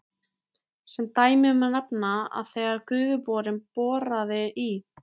Sem dæmi má nefna að þegar Gufuborinn boraði í